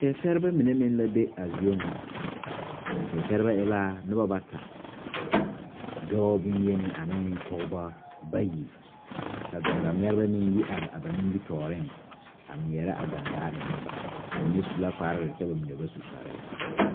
Tenseɛrebɛ mine meŋ la be a zie ŋa a seɛ seɛrebɛ e la bata dɔɔ boyeni ane pɔgeba bayi ka gaŋgaŋmɛrebɛ mine yi are ba nimitɔɔreŋ a ŋmeɛrɛ a gaŋgaa enne ba ba mine su la kparre kyɛ ba mine ba su kparre